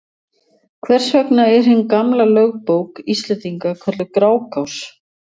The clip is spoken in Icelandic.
Hvers vegna er hin gamla lögbók Íslendinga kölluð Grágás?